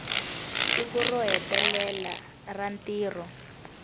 siku ro hetelela ra ntirho